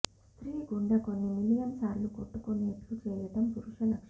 స్త్రీ గుండె కొన్ని మిలియన్ సార్లు కొట్టుకునేట్టు చేయడం పురుష లక్షణం